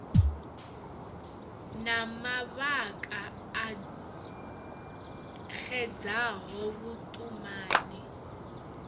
na mavhaka a xedzaho vhuṱumani